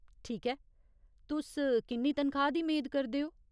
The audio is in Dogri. ठीक ऐ, तुस किन्नी तनखाह् दी मेद करदे ओ ?